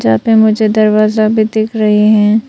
यहाँ पे मुझे दरवाजा भी दिख रहीं है।